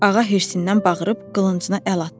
Ağa hirsindən bağırıb qılıncına əl atdı.